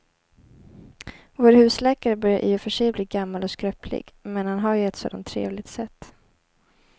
Vår husläkare börjar i och för sig bli gammal och skröplig, men han har ju ett sådant trevligt sätt!